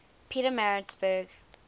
pietermaritzburg